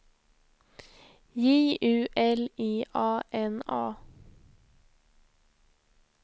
J U L I A N A